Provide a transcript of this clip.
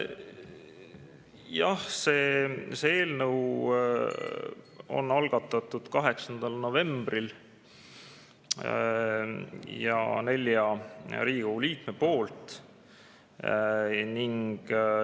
Jah, see eelnõu on algatatud 8. novembril ja nelja Riigikogu liikme poolt.